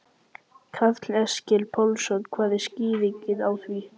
Karl Eskil Pálsson: Hver er skýringin á því?